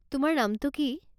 তোমাৰ নামটো কি?